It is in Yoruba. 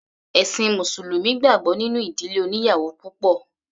Ẹ̀ṣin mùsùlùmí gbàgbọ́ nínú ìdílé oníyàwò púpọ̀.